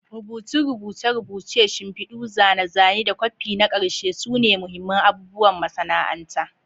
Rubutun rubuce-rubuce, shimfidu, zane-zane, da kwafi na ƙarshe sune mahimman abubuwan masana'anta.